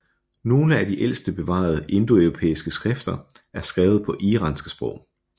Nogle af de ældste bevarede indoeuropæiske skrifter er skrevet på iranske sprog